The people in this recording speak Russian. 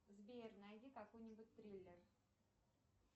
сбер найди какой нибудь триллер